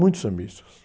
Muitos sambistas.